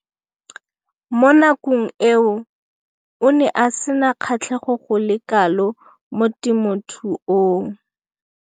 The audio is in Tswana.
Mo nakong eo o ne a sena kgatlhego go le kalo mo temothuong.